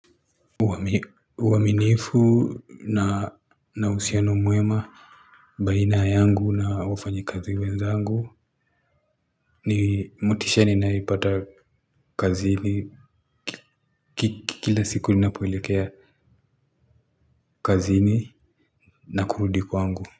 Uaminifu na uhusiano mwema baina yangu na wafanyikazi wenzangu ni motisha ninayoipata kazini kila siku ninapoelekea kazini na kurudi kwangu.